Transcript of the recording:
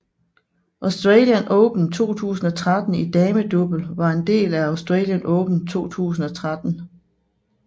Australian Open 2013 i damedouble var en del af Australian Open 2013